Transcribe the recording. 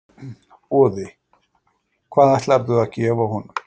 Boði: Hvað ætlarðu að gefa honum?